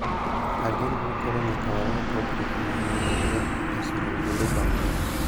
Ageno ni koro nyaka wawe pogruok ma ne wan-go e sero ombulu bang�wa